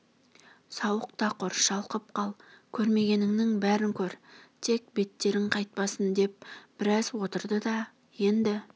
сауық та құр шалқып қал көрмегеніңнің бәрін көр тек беттерің қайтпасын деп біраз отырды да енді